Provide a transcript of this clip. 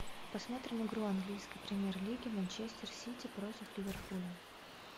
посмотрим игру английской премьер лиги манчестер сити против ливерпуля